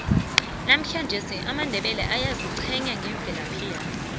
namuhlangesi amandebele ayaziqhenya ngemvelaphi yawo